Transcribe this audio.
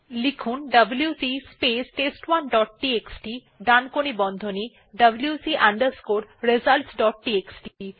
লিখুন WC space টেস্ট1 dot TXT ডানকোণী বন্ধনী wc results ডট টিএক্সটি